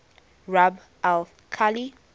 rub al khali